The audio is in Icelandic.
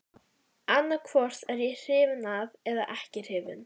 Annaðhvort er ég hrifinn eða ekki hrifinn.